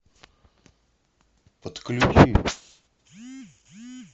подключи